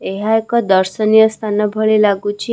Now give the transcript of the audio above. ଏହା ଏକ ଦର୍ଶନୀୟ ସ୍ଥାନ ଭଳି ଲାଗୁଛି ।